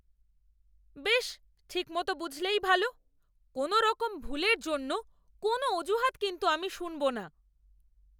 বেশ, ঠিক মতো বুঝলেই ভালো। কোনোরকম ভুলের জন্য কোনও অজুহাত কিন্তু আমি শুনবো না।